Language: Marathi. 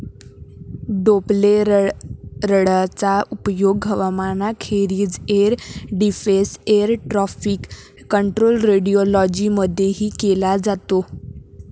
डोप्प्लेररडारचा उपयोग हवामानाखेरीज air defence, air traffic control, radiology मधेही केला जातो.